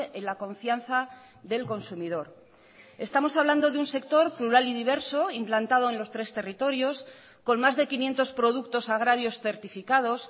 en la confianza del consumidor estamos hablando de un sector plural y diverso implantado en los tres territorios con más de quinientos productos agrarios certificados